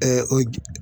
o